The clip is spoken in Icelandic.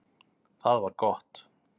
Það var gott